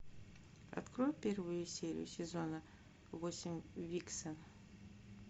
открой первую серию сезона восемь викса